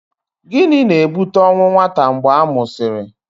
Gịnị na-ebute ọnwụ nwata mgbe a mụsịrị?